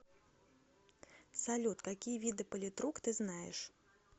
салют какие виды политрук ты знаешь